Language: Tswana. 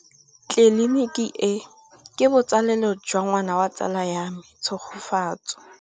Tleliniki e, ke botsalêlô jwa ngwana wa tsala ya me Tshegofatso.